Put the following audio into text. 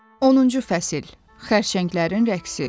10-cu fəsil: Xərçənglərin rəqsi.